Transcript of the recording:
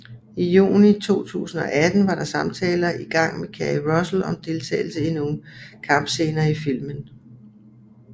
I juli 2018 var der samtaler i gang med Keri Russell om deltagelse i nogle kampscener i filmen